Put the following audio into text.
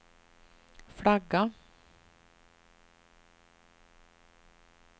flagga